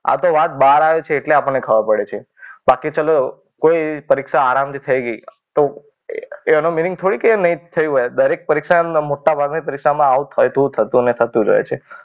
આ તો વાત બહાર આવે છે એટલા પણ ને ખબર પડે છે. બાકી ચલો કોઈ પરીક્ષા આરામથી થઈ ગઈ તો એનો મિનિંગ થોડી કે નહીં થઈ હોય. દરેક પરીક્ષા મોટાભાગની પરીક્ષામાં આવું થતું ને થતું જ હોય છે.